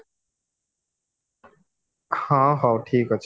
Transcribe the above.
ହଁ ହଉ ଠିକ ଅଛି